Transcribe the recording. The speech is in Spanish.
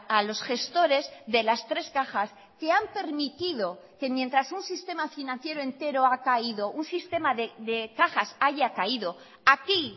a los gestores de las tres cajas que han permitido que mientras un sistema financiero entero ha caído un sistema de cajas haya caído aquí